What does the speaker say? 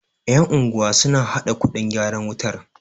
yan'unguwa suna haɗa kuɗin gyaran wutar